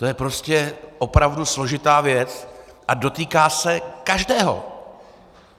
To je prostě opravdu složitá věc a dotýká se každého.